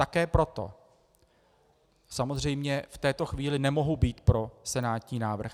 Také proto samozřejmě v této chvíli nemohu být pro senátní návrh.